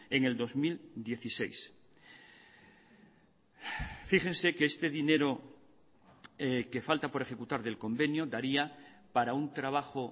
en el dos mil dieciséis fíjense que este dinero que falta por ejecutar del convenio daría para un trabajo